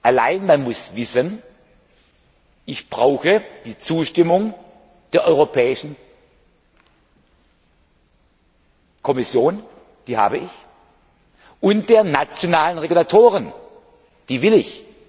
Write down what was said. Allein, man muss wissen, ich brauche die Zustimmung der Europäischen Kommission die habe ich und der nationalen Regulatoren die will ich.